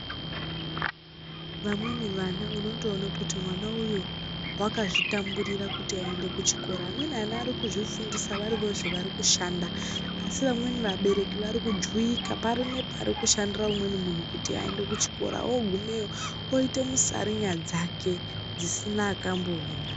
Vamweni vana unondoone kuti mwana uyu wakazvitamburira kuti aende kuchikora. Amweni ana arikuzvifundisa varivozve varikushanda. Asi vamweni vabereki varikujuvika pari nepari kushandira umweni munhu kuti aende kuchikora. Oogumeyo oite musarinya dzake dzisina akamboona.